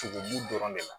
Sogobu dɔrɔn de la